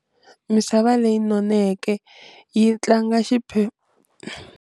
Misava leyinoneke yi tlanga xi .